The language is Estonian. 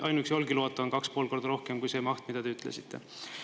Ainuüksi Olkiluoto on kaks-pool korda rohkem kui see maht, mida te ütlesite.